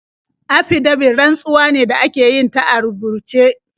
Afidabit rantsuwa ce da ake yin ta a rubuce.